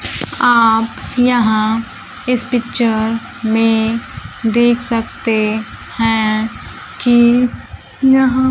आप यहां इस पिक्चर में देख सकते हैं की यहां